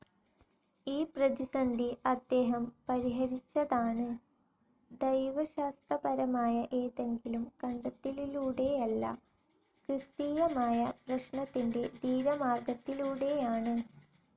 ഈ പ്രതിസന്ധി അദ്ദേഹം പരിഹരിച്ചതാണ്, ദൈവശാസ്ത്രപരമായ ഏതെങ്കിലും കണ്ടെത്തലിലൂടെയല്ല, ക്രിസ്തീയമായ പ്രശ്നത്തിൻ്റെ ധീരമാർഗ്ഗത്തിലൂടെയാണ്...